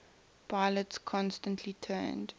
pilots consistently turned